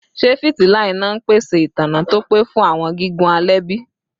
Ṣe fitila ina n pese itanna to pe fun awọn gigun alẹ bi?